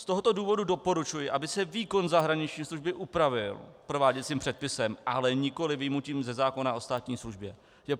Z tohoto důvodu doporučuji, aby se výkon zahraniční služby upravil prováděcím předpisem, ale nikoli vyjmutím ze zákona o státní službě.